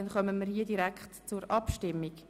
Somit kommen wir direkt zur Abstimmung.